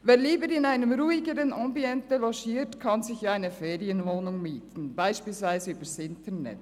Wer lieber in einem ruhigeren Ambiente logiert, kann sich ja eine Ferienwohnung mieten, beispielsweise über Internet.